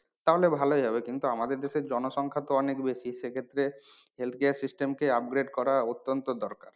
তাহলে ভালোই হবে কিন্তু আমাদের দেশের জনসংখ্যা তো অনেক বেশি সে ক্ষেত্রে health care system update করা অতন্ত্য দরকার।